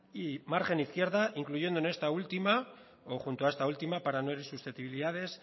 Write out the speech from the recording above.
y margen izquierda incluyendo en esta última o junto a esta última para no herir susceptibilidades